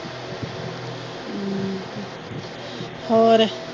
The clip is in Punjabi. ਹੋਰ।